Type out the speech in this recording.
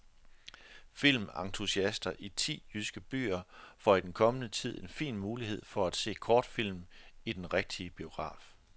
Filmentusiaster i ti jyske byer får i den kommende tid en fin mulighed for at se kortfilm i den rigtige biograf.